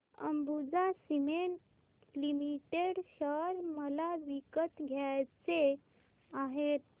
Ambuja cement limited share मला विकत घ्यायचे आहेत